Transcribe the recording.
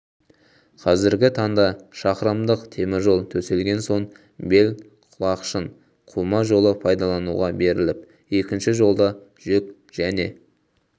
қазіргі таңда шақырымдық теміржол төселген соң бел құлақшын қума жолы пайдалануға беріліп екінші жолда жүк және